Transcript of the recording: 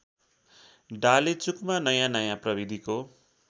डालेचुकमा नयाँनयाँ प्रविधिको